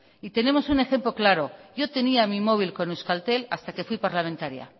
y tenemos un ejemplo claro yo tenía mi móvil con euskaltel hasta que fui parlamentaria